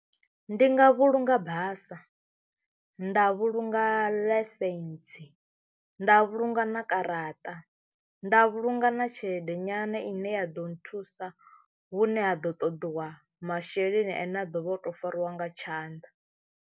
Ndi nga vhulunga basa, nda vhulunga laisentsi, nda vhulunga na garaṱa, nda vhulunga na tshelede nyana ine ya ḓo nthusa hune ha ḓo ṱoḓiwa masheleni ane a ḓovha o to fariwa nga tshanḓa.